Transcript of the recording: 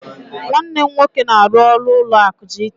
Nwanne m nwoke na-aru ọrụ ụlọ akụ GT.